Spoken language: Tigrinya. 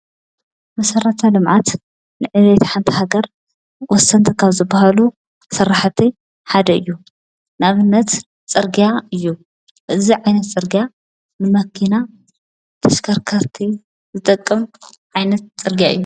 መሠራታ ልምዓት ንዕሉ የተሓንታ ሃገር ወሰንተ ኻብ ዝብሃሉ ሠራሕተይ ሓደ እዩ ናብነት ጸርግያ እዩ እዙይ ዓይነት ጽርግያ ንመኪና ተሽከርከርቲ ዝጠቅም ዓይነት ጽርግያ እዩ።